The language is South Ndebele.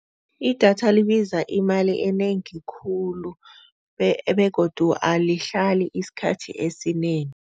Idatha libiza imali enengi khulu begodu alihlali isikhathi esinengi.